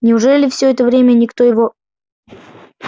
неужели все это время никто его